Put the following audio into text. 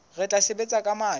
re tla sebetsa ka matla